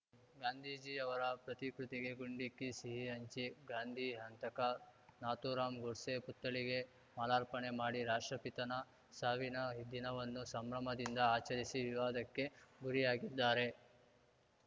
ಗಾಂಧೀಜಿ ಅವರ ಪ್ರತಿಕೃತಿಗೆ ಗುಂಡಿಕ್ಕಿ ಸಿಹಿ ಹಂಚಿ ಗಾಂಧಿ ಹಂತಕ ನಾಥೂರಾಂ ಗೋಡ್ಸೆ ಪುತ್ಥಳಿಗೆ ಮಾಲಾರ್ಪಣೆ ಮಾಡಿ ರಾಷ್ಟ್ರಪಿತನ ಸಾವಿನ ದಿನವನ್ನು ಸಂಭ್ರಮದಿಂದ ಆಚರಿಸಿ ವಿವಾದಕ್ಕೆ ಗುರಿಯಾಗಿದ್ದಾರೆ